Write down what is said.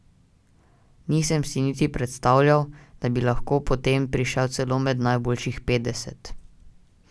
Nisem si niti predstavljal, da bi lahko potem prišel celo med najboljših petdeset.